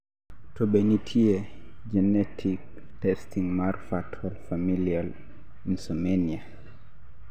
to be nitie genetic testing mar fatal familial insomnia?